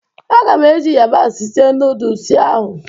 Agam eji yabasị sie noodusi ahụ